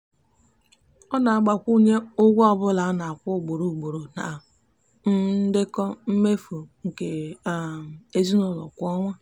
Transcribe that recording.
ọ na-agbakwunye ụgwọ ọbụla a na-akwụ ugboro ugboro na um ndekọ mmefu nke um ezinụụlọ kwa ọnwa.